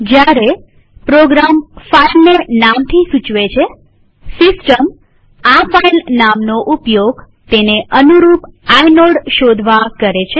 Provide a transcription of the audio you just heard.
જયારે પ્રોગ્રામ ફાઈલને નામથી સૂચવે છેસિસ્ટમ આ ફાઈલનામનો ઉપયોગ તેને અનુરૂપ આઇનોડ શોધવા કરે છે